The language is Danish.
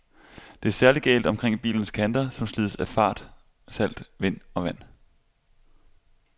Det er særlig galt omkring bilens kanter, som slides af fart, salt, vind og vand.